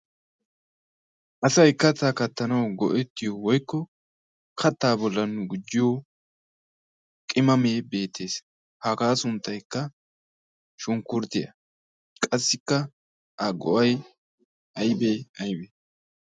asaykkattaa kattanwau go'ettiyo woikko kattaa bolla nu gujjiyo qimamee beetees hagaa sunttaykka shunkkurttiyaa qassikka a go'ay aybee aybee?